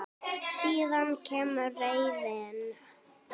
Síðan kemur reiðin.